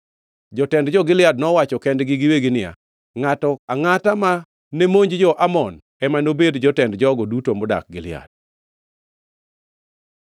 Jotend jo-Gilead nowacho kendgi giwegi niya, “Ngʼato angʼata ma nemonj jo-Amon ema nobed jotend jogo duto modak Gilead.”